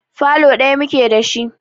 Falo ɗaya muke da shi.